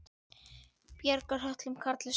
Bjargar höltum karli sá.